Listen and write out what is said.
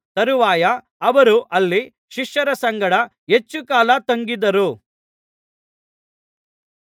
ತರುವಾಯ ಅವರು ಅಲ್ಲಿ ಶಿಷ್ಯರ ಸಂಗಡ ಹೆಚ್ಚುಕಾಲ ತಂಗಿದ್ದರು